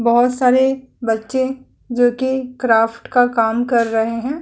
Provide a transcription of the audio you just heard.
बहोत सारे बच्चे जो कि क्राफ्ट का काम कर रहे हैं।